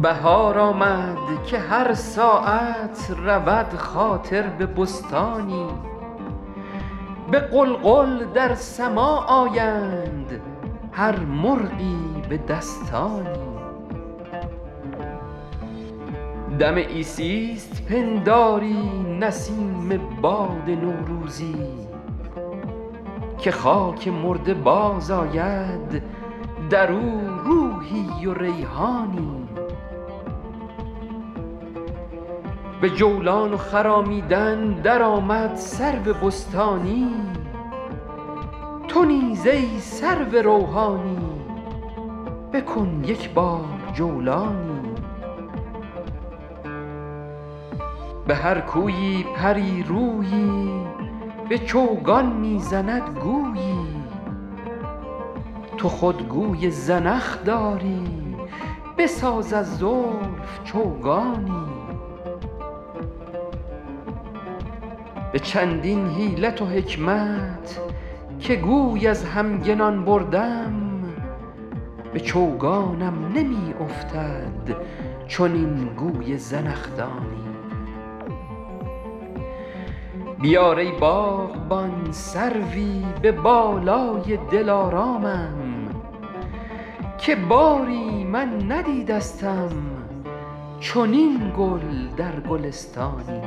بهار آمد که هر ساعت رود خاطر به بستانی به غلغل در سماع آیند هر مرغی به دستانی دم عیسیست پنداری نسیم باد نوروزی که خاک مرده باز آید در او روحی و ریحانی به جولان و خرامیدن در آمد سرو بستانی تو نیز ای سرو روحانی بکن یک بار جولانی به هر کویی پری رویی به چوگان می زند گویی تو خود گوی زنخ داری بساز از زلف چوگانی به چندین حیلت و حکمت که گوی از همگنان بردم به چوگانم نمی افتد چنین گوی زنخدانی بیار ای باغبان سروی به بالای دلارامم که باری من ندیدستم چنین گل در گلستانی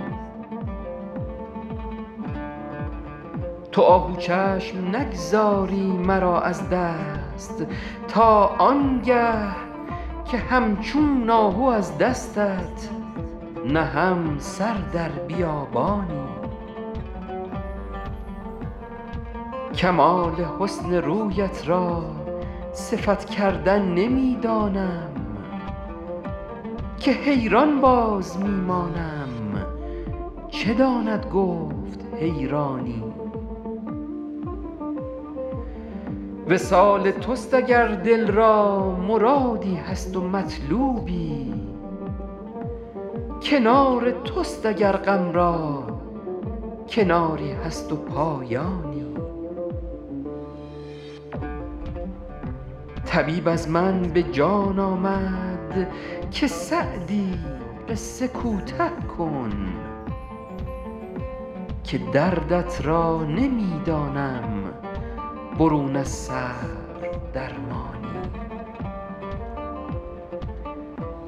تو آهو چشم نگذاری مرا از دست تا آن گه که همچون آهو از دستت نهم سر در بیابانی کمال حسن رویت را صفت کردن نمی دانم که حیران باز می مانم چه داند گفت حیرانی وصال توست اگر دل را مرادی هست و مطلوبی کنار توست اگر غم را کناری هست و پایانی طبیب از من به جان آمد که سعدی قصه کوته کن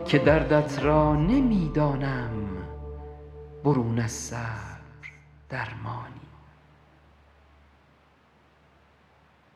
که دردت را نمی دانم برون از صبر درمانی